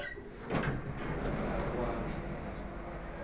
aluwani